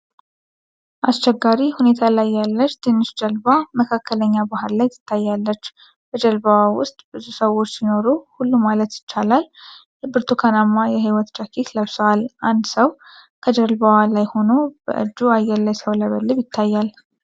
አስቸጋሪ ሁኔታ ላይ ያለች ትንሽ ጀልባ መካከለኛ ባሕር ላይ ትታያለች። በጀልባዋ ውስጥ ብዙ ሰዎች ሲኖሩ ሁሉም ማለት ይቻላል ብርቱካናማ የሕይወት ጃኬት ለብሷል። አንድ ሰው ከጀልባዋ ላይ ሆኖ በእጁ አየር ላይ ሲያውለበልብ ይታያል።